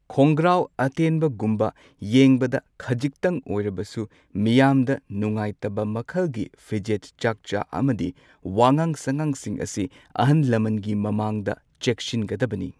ꯈꯣꯡꯒ꯭ꯔꯥꯎ ꯑꯇꯦꯟꯕꯒꯨꯝꯕ ꯌꯦꯡꯕꯗ ꯈꯖꯤꯛꯇꯪ ꯑꯣꯏꯔꯕꯁꯨ ꯃꯤꯌꯥꯝꯗ ꯅꯨꯡꯉꯥꯏꯇꯕ ꯃꯈꯜꯒꯤ ꯐꯤꯖꯦꯠ ꯆꯥꯛꯆꯥ ꯑꯃꯗꯤ ꯋꯥꯉꯥꯡ ꯁꯉꯥꯡꯁꯤꯡ ꯑꯁꯤ ꯑꯍꯟ ꯂꯃꯟꯒꯤ ꯃꯃꯥꯡꯗ ꯆꯦꯛꯁꯤꯟꯒꯗꯕꯅꯤ꯫